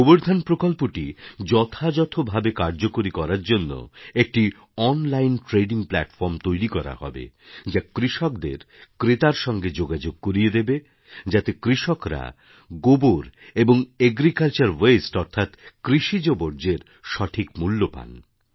গোবর ধন প্রকল্পটি যথাযথ ভাবে কার্যকরী করার জন্য একটি অনলাইন ট্রেডিং প্ল্যাটফর্ম তৈরি করা হবে যা কৃষকদের ক্রেতার সঙ্গে যোগাযোগ করিয়ে দেবে যাতে কৃষকরা গোবর এবং এগ্রিকালচারওয়াস্টে অর্থাৎ কৃষিজ বর্জ্যের সঠিক মূল্য পান